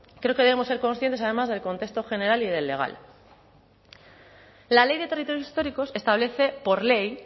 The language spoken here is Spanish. creo que debemos ser conscientes además del contexto general y del legal la ley de territorios históricos establece por ley